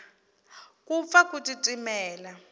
ku pfa ku titimela